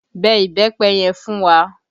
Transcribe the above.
Bẹ ìbẹ́pẹ yẹn fún wa!